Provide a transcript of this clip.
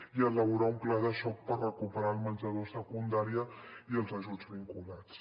i elaborar un pla de xoc per recuperar el menjador a secundària i els ajuts vinculats